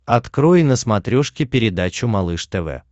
открой на смотрешке передачу малыш тв